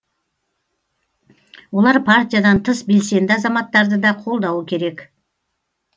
олар партиядан тыс белсенді азаматтарды да қолдауы керек